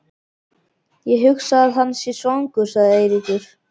Ég hugsa að hann sé svangur sagði Eiríkur.